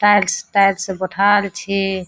Tiles tiles बैठाएल छै।